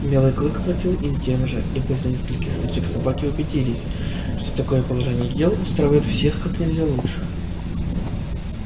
белый клык платил им тем же и после нескольких стычек собаки убедились что такое положение дел устраивает всех как нельзя лучше